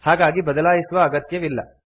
ಹಾಗಾಗಿ ಬದಲಾಯಿಸುವ ಅಗತ್ಯವಿಲ್ಲ